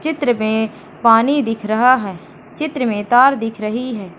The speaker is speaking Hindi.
चित्र में पानी दिख रहा है चित्र में तार दिख रही है।